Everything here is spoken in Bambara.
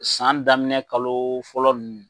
San daminɛ kalo fɔlɔ ninnu.